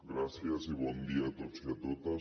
gràcies i bon dia a tots i a totes